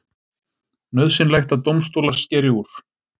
Nauðsynlegt að dómstólar skeri úr